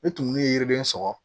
Ni tumuni ye yiriden sɔgɔ